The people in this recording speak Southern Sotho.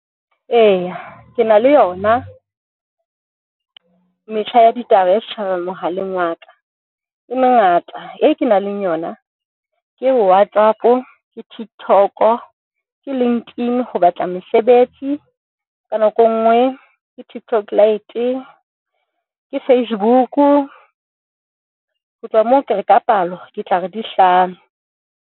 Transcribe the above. Eya, ke na le yona metjha ya ditaba ya setjhaba mohaleng wa ka e mengata, e kenang le yona ke WhatsApp, ke TikTok-o, ke LinkedIn ho batla mesebetsi. Ka nako e nngwe ke TikTok Lite, ke Facebook-u. Ho tloha moo ke re ka palo ke tla re di hlano.